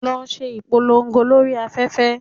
Lọ ṣe ìpolongo lórí afẹ́fẹ́!